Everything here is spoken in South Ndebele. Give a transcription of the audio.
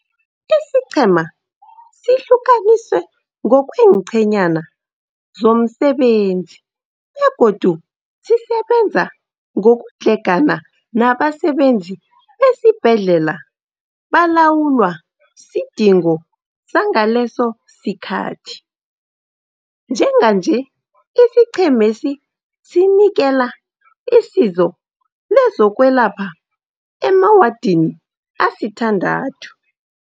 Isiqhema sihlukaniswe ngokwe enqhenyana zomsebenzi begodu sisebenza ngokudlhegana nabasebenzi besibhedlela balawulwa sidingo sangaleso sikhathi. Njenganje isiqhemesi sinikela isizo lezokwelapha emawadini asithandathu.